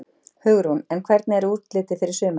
Hugrún: En hvernig er útlitið fyrir sumarið?